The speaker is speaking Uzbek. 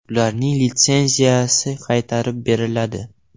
Ularning litsenziyasi qaytarib beriladi.